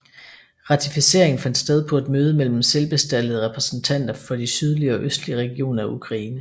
Ratificeringen fandt sted på et møde mellem selvbestaltede repræsentanter for de sydlige og østlige regioner af Ukraine